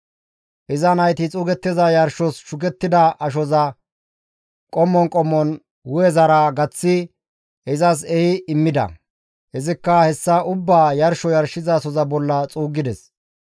Iza nayti xuugettiza yarshos shukettida ashoza qommon qommon hu7ezara gaththi izas ehi immida; izikka hessa ubbaa yarsho yarshizasoza bolla xuuggides.